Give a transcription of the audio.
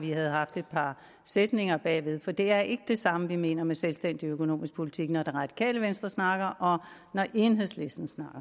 vi havde haft et par sætninger bagefter for det er ikke det samme vi mener med selvstændig økonomisk politik når det radikale venstre snakker om det og når enhedslisten snakker